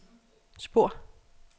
spor